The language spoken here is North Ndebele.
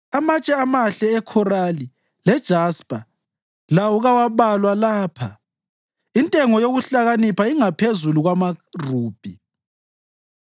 Amatshe amahle ekhorali lejaspa lawo kawabalwa lapha; intengo yokuhlakanipha ingaphezulu kwamarubhi.